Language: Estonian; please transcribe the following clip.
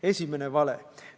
Esimene vale.